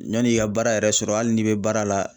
Yanni i ka baara yɛrɛ sɔrɔ hali n'i bɛ baara la